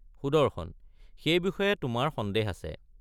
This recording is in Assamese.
সুদৰ্শন—সেই বিষয়ে তোমাৰ সন্দেহ আছে।